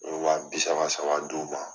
Wa bi saba saba dun dun